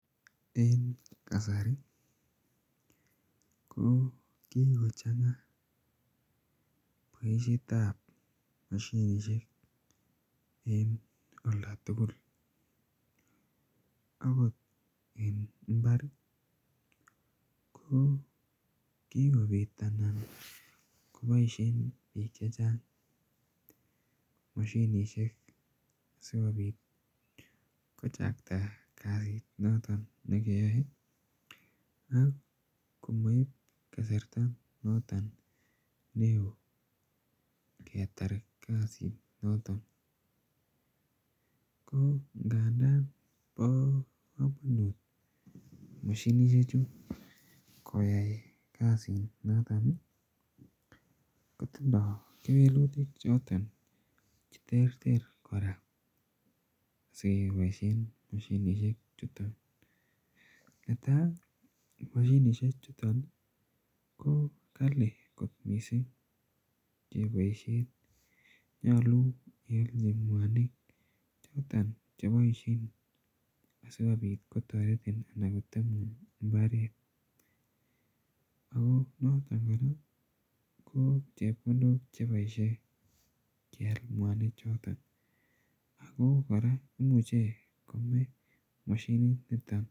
Eng' kasari ko kiko chang'a poishet ap mosinisiek en olda tugul. Akot en imbar ko kikopit anan kopaishe piik che chang' mosinisiek si kopit kochakta kasit noton ne keyae amip kasrta noton n oo. Ngetar kasit noton ko ndandan pa kamanut mosinisiek chu koyai kasinoton i, kootindai kewelutik che terter kora sikepaishen mosinisiechuton . Netai ,mosinisiechuton ko kali kot missing' kepaishen. Nyalun ialchi mwanik choton chepaishen asikopit kotaretin anan kotemun mbaret. Ako noton kora ko chepkondok che paishen ngial mwanichoton. Ako kora imuchi kome mosininiton.